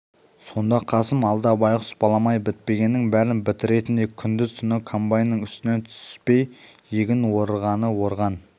сонда қасым алда байғұс балам-ай бітпегеннің бәрін бітіретіндей күндіз-түні комбайнның үстінен түспей егін орғаны орған